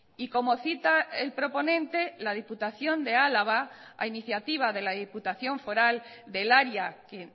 y como cita el proponente la diputación de álava a iniciativa de la diputación foral del área que